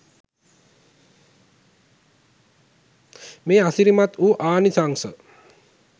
මේ අසිරිමත් වු ආනිශංස